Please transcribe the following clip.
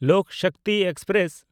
Lok Shakti express